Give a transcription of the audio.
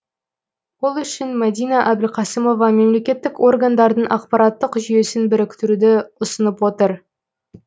ол үшін мәдина әбілқасымова мемлекеттік органдардың ақпараттық жүйесін біріктіруді ұсынып отыр